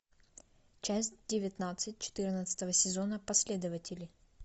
часть девятнадцать четырнадцатого сезона последователи